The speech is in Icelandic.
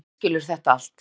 Þú misskilur þetta allt.